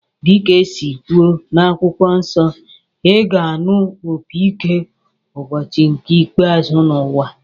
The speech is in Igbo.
Dịka esi kwuo n'akwụkwọ nsọ, ị ga-anụ opi ike ụbọchị nke ikpeazụ n'ụwa